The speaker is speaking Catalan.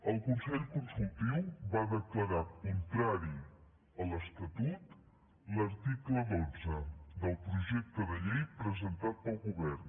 el consell consultiu va declarar contrari a l’estatut l’article dotze del projecte de llei presentat pel govern